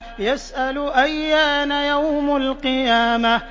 يَسْأَلُ أَيَّانَ يَوْمُ الْقِيَامَةِ